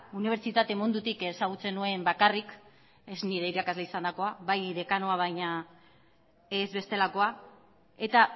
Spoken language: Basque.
unibertsitate mundutik ezagutzen nuen bakarrik ez nire irakasle izandakoa bai dekanoa baina ez bestelakoa eta